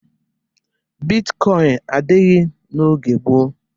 Bitkọịn adịghị n'oge gboo.